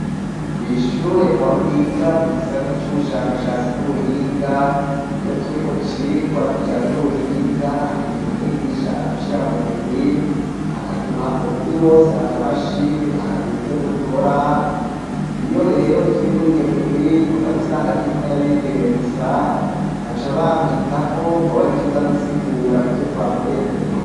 Kwishure aho niga mu gisata c'ubushakashatsi n'ubuhinga iyo turi mu cirwa kijanye n'ubuhinga hari igihe umwigisha adushira mu migwi akaduha umurwi wose akamashini akaduha ivyo dukora iyo rero turi muri iyo migwi nkunda gusanga ndikumwe nabigeme gusa baca bampitamwo ngo abarije nza gusigura ivyo twakoreye mu migwe.